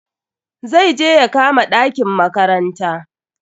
Zai je ya kama ɗakin makaranta.